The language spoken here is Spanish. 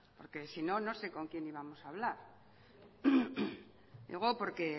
porque sino no sé con quién íbamos a hablar digo porque